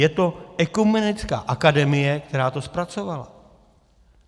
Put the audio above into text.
Je to Ekumenická akademie, která to zpracovala.